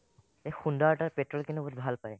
এ খুন দাৰ তাত petrol খিনি কিন্তু বহুত ভাল পাই